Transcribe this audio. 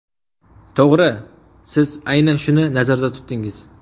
To‘g‘ri, siz aynan shuni nazarda tutdingiz.